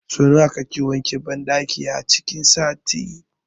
Sau nawa kake wanke banɗakin a cikin sati?